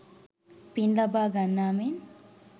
පින් ලබා ගන්නා මෙන්